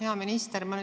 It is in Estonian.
Hea minister!